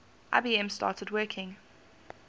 ibm started working